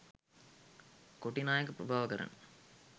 කොටි නායක ප්‍රභාකරන්